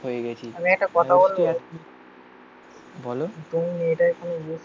হয়ে গেছি বলো